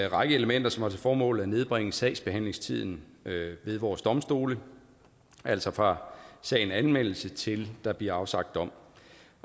række elementer som har til formål at nedbringe sagsbehandlingstiden ved vores domstole altså fra sagen anmeldes til der bliver afsagt dom